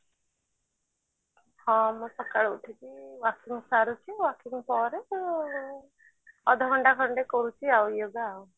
ହଁ ମୁଁ ସକାଳୁ ଉଠିକି ସାରିକି ପରେ ଅଧ ଘଣ୍ଟା ଖଣ୍ଡେ କରୁଛି ଆଉ yoga ଆଉ